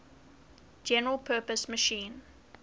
general purpose machine